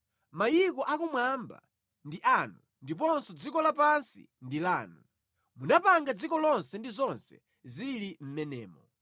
Mayiko akumwamba ndi anu ndiponso dziko lapansi ndi lanu; munapanga dziko lonse ndi zonse zili mʼmenemo.